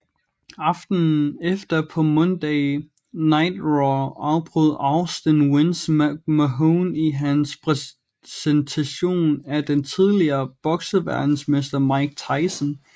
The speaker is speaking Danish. Aftenen efter på Monday Night Raw afbrød Austin Vince McMahon i hans præsentation af den tidligere bokseverdensmester Mike Tyson